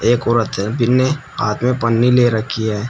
एक औरत है जिन्ने हाथ में पन्नी ले रखी है।